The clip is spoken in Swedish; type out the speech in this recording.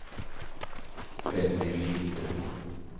Benny Lind